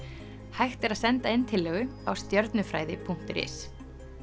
hægt er að senda inn tillögu á stjörnufræði punktur is